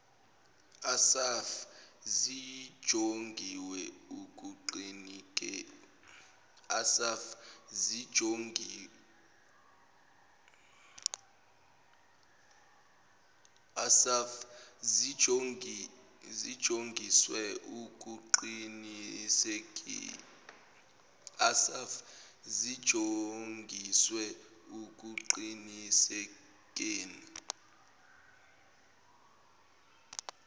assaf zinjongiswe ekuqinisekeni